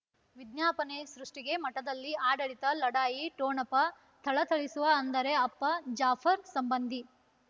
ವಿಜ್ಞಾಪನೆ ಸೃಷ್ಟಿಗೆ ಮಠದಲ್ಲಿ ಆಡಳಿತ ಲಢಾಯಿ ಠೊಣಪ ಥಳಥಳಿಸುವ ಅಂದರೆ ಅಪ್ಪ ಜಾಫರ್ ಸಂಬಂಧಿ